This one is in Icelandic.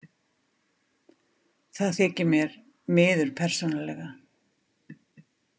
Það þykir mér miður persónulega.